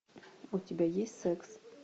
у тебя есть секс